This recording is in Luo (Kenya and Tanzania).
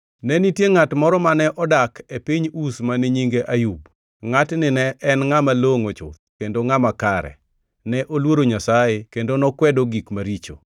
Ne nitie ngʼat moro mane odak e piny Uz mane nyinge Ayub. Ngʼatni ne en ngʼama longʼo chuth kendo ngʼama kare; ne oluoro Nyasaye kendo nokwedo gik maricho.